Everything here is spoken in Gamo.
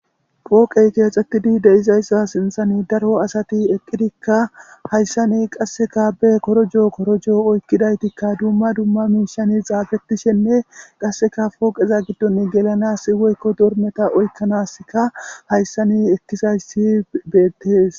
pooqey keexxetidi de'izayssa sinthani daro asati eqqidikka hayssani qasseka be korojoo korojoo oykkidaytikka dumma dumma miishani xaafettishenne qasseka pooqeza giddon gelanas woykko dormeta oykkanaska hayssani ekkizayssi beettes